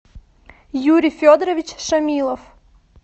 юрий федорович шамилов